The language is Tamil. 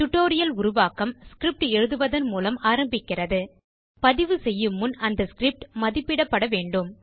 டியூட்டோரியல் உருவாக்கம் ஸ்கிரிப்ட் எழுதுவதன் மூலம் ஆரம்பிக்கிறது பதிவு செய்யும்முன் அந்த ஸ்கிரிப்ட் மதிப்பிடப்பட வேண்டும்